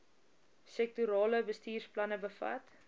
sektorale bestuursplanne bevat